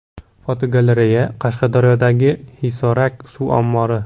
Fotogalereya: Qashqadaryodagi Hisorak suv ombori.